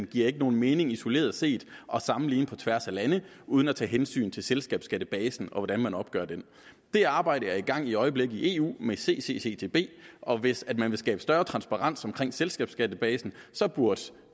giver nogen mening isoleret set at sammenligne selskabsskatteprocenten på tværs af lande uden at tage hensyn til selskabsskattebasen og til hvordan man opgør den det arbejde er i gang i øjeblikket i eu med initiativet ccccb og hvis man vil skabe større transparens omkring selskabsskattebasen burde